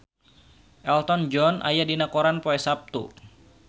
Elton John aya dina koran poe Saptu